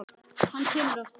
Hann kemur aftur.